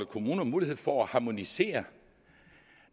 kommunerne mulighed for at harmonisere